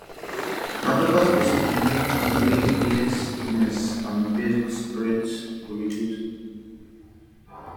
na proper spacing go help make di way wey sickness and bird spread go reduce